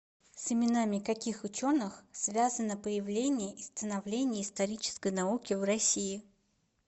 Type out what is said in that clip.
с именами каких ученых связано появление и становление исторической науки в россии